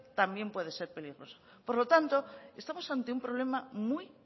también puede ser peligrosa por lo tanto estamos ante un problema muy